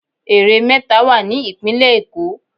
Ère méta wà ní ìpínlẹ̀ Èkó